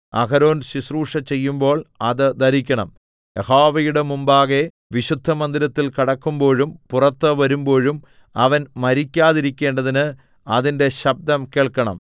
അഹരോൻ ശുശ്രൂഷ ചെയ്യുമ്പോൾ അത് ധരിക്കണം യഹോവയുടെ മുമ്പാകെ വിശുദ്ധമന്ദിരത്തിൽ കടക്കുമ്പോഴും പുറത്ത് വരുമ്പോഴും അവൻ മരിക്കാതിരിക്കേണ്ടതിന് അതിന്റെ ശബ്ദം കേൾക്കണം